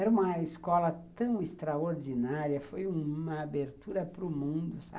Era uma escola tão extraordinária, foi uma abertura para o mundo, sabe?